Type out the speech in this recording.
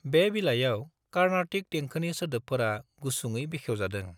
बे बिलाइयाव कार्नाटिक देंखोनि सोदोबफोरा गुसुङै बेखेवजादों।